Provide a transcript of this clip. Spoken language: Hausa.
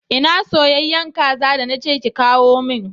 Ina soyayyen kaza da na ce ki kawo min?